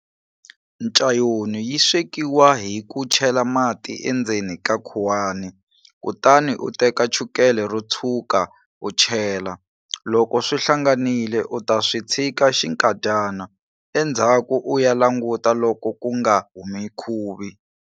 Ncayoni yi swekiwa hi ku chela mati endzeni ka khuwana kutani u teka chukele ro tshwuka u chela. Loko swi hlanganile u ta swi tshika xinkadyana, endzhaku u ya languta loko ku nga humi khuvi.